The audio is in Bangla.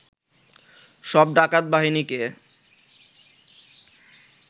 সব ডাকাত বাহিনীকে